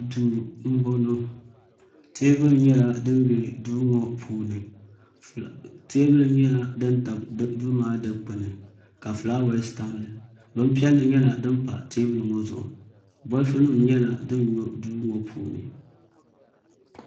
Duu n bɔŋɔ teebuli nyɛla din bɛ duu ŋɔ puuni teebuli nyɛla din tabi duu maa dikpuni ka fulaawɛs tam dinni bin piɛlli nyɛla din pa teebuli ŋɔ zuɣu bolfu nim nyɛla din nyɔ duu ŋɔ puuni